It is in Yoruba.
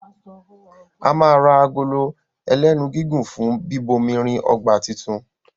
a má rà Agolo ẹlẹ́nu gígùn fún bíbomirin ọgbà títún.